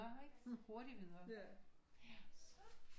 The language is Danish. Ikke hurtigt videre